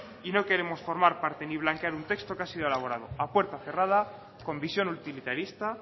y no queremos formar parte ni blanquear un texto que ha sido elaborado a puerta cerrada con visión utilitarista